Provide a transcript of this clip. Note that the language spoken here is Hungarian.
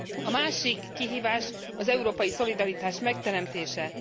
A másik kihívás az európai szolidaritás megteremtése.